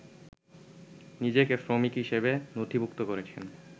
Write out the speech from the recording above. নিজেকে শ্রমিক হিসেবে নথিভূক্ত করেছেন